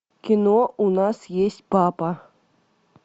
кино у нас есть папа